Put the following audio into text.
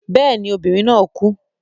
Yes, the lady died.